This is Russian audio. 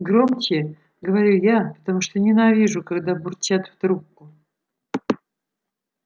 громче говорю я потому что ненавижу когда бурчат в трубку